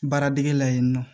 Baara dege la yen nɔ